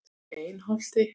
Einholti